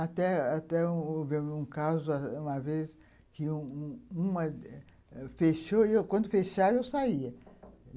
Até até houve um caso, uma vez, que uma uma uma fechou e eu, quando fechava, eu saía.